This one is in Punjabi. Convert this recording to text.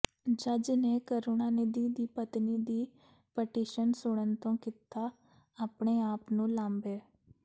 ਜੱਜ ਨੇ ਕਰੁਣਾਨਿਧੀ ਦੀ ਪਤਨੀ ਦੀ ਪਟੀਸ਼ਨ ਸੁਣਨ ਤੋਂ ਕੀਤਾ ਆਪਣੇ ਆਪ ਨੂੰ ਲਾਂਭੇ